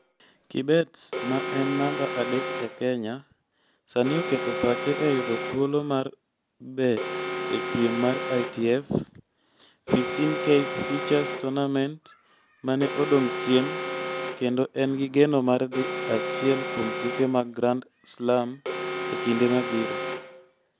Kibet, ma ne en namba adek e Kenya, sani oketo pache e yudo thuolo mar bet e piem mar ITF 15K Futures Tournament ma ne odong' chien kendo en gi geno mar dhi e achiel kuom tuke mag Grand Slam e kinde mabiro.